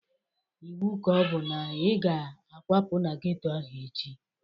Ịwu ka ọbụ na ị ga akwapu n'geto ahụ echi!